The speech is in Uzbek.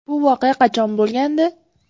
– Bu voqea qachon bo‘lgandi?